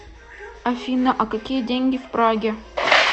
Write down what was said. афина а какие деньги в праге